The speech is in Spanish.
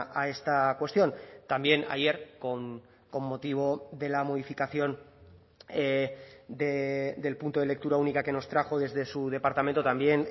a esta cuestión también ayer con motivo de la modificación del punto de lectura única que nos trajo desde su departamento también